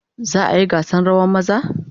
Za a yi gasa rawan maza?